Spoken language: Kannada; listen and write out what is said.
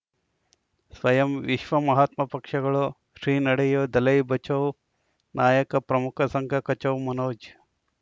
ಸ್ವಯಂ ವಿಶ್ವ ಮಹಾತ್ಮ ಪಕ್ಷಗಳು ಶ್ರೀ ನಡೆಯೂ ದಲೈ ಬಚೌ ನಾಯಕ ಪ್ರಮುಖ ಸಂಘ ಕಚೌ ಮನೋಜ್